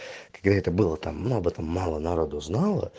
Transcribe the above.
какая это было там мы об этом мало народу знало